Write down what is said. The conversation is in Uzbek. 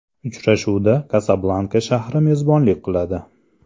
Uchrashuvga Kasablanka shahri mezbonlik qiladi.